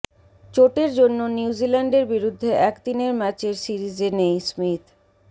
চোটের জন্য নিউজিল্যান্ডের বিরুদ্ধে একদিনের ম্যাচের সিরিজে নেই স্মিথ